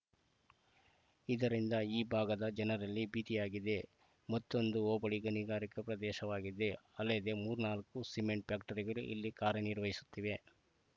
ಇದರಿಂದ ಈ ಭಾಗದ ಜನರಲ್ಲಿ ಭೀತಿಯಾಗಿದೆ ಮತ್ತೊಂದು ಹೋಬಳಿ ಗಣಿಗಾರಿಕೆ ಪ್ರದೇಶವಾಗಿದೆ ಅಲ್ಲದೆ ಮೂರ್ನಾಲ್ಕು ಸಿಮೆಂಟ್‌ ಫ್ಯಾಕ್ಟರಿಗಳು ಇಲ್ಲಿ ಕಾರ್ಯನಿರ್ವಹಿಸುತ್ತಿವೆ